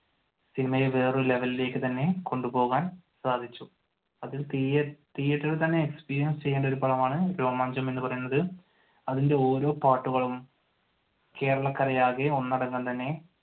സിനിമയെ വേറെ ഒരു ലെവെലിലേക്ക് തന്നെ കൊണ്ടുപോകാൻ സാധിച്ചു. അത് തീയതീയറ്ററിൽ തന്നെ experience ചെയ്യേണ്ട ഒരു പടമാണ് രോമാഞ്ചം എന്ന് പറയുന്നത് അതിന്റെ ഓരോ പാട്ടുകളും കേരളക്കരയാകെ ഒന്നടങ്കം തന്നെ